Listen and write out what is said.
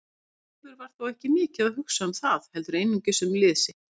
Leifur var þó ekki mikið að hugsa um það heldur einungis um lið sitt.